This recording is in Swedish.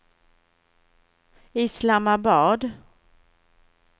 Islamabad